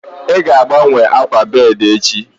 Ị ga-agbanwe akwa bedi echi